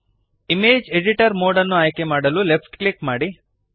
image editor mode ಅನ್ನು ಆಯ್ಕೆಮಾಡಲು left click ಮಾಡಿರಿ